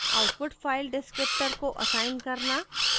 output file descriptor को assign करना